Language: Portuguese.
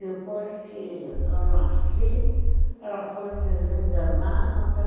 Depois que eu nasci, ela foi desenganada.